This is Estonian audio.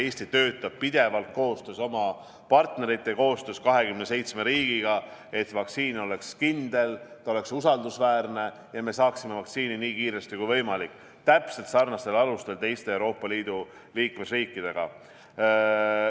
Eesti töötab pidevalt koostöös oma partneritega, meil on 27 liikmesriigi koostöö, et vaktsiin oleks kindel, ta oleks usaldusväärne ja me saaksime vaktsiini nii kiiresti kui võimalik täpselt sarnastel alustel teiste Euroopa Liidu riikidega.